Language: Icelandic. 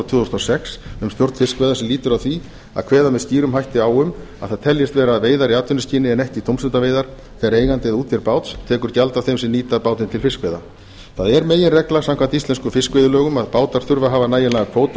þúsund og sex um stjórn fiskveiða sem lýtur að því að kveða með skýrum hætti á um að það teljist vera veiðar í atvinnuskyni en ekki tómstundaveiðar þegar eigandi eða útgerð báts tekur gjald af þeim sem nýta bátinn til fiskveiða það er meginregla samkvæmt íslenskum fiskveiðilögum að bátar þurfa að hafa nægilegan kvóta